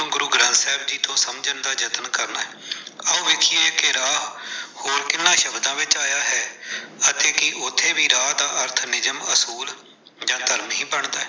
ਗੁਰੂ ਗ੍ਰੰਥ ਸਾਹਿਬ ਜੀ ਤੋਂ ਸਮਝਣ ਦਾ ਯਤਨ ਕਰਨਾ ਹੈ। ਆਓ ਵੇਖਿਏ ਕਿ ਰਾਹ ਹੋਰ ਕਿੰਨਾ ਸ਼ਬਦ ਵਿੱਚ ਆਇਆ ਹੈ। ਅਤੇ ਕਿ ਉੱਥੇ ਵੀ ਰਾਹ ਦਾ ਅਰਥ ਨਿਯਮ ਅਸੂਲ ਜਾਂ ਧਰਮ ਹੀ ਬਣਦਾ ਹੈ।